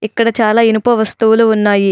ఇక్కడ చాలా ఇనుప వస్తువులు ఉన్నాయి.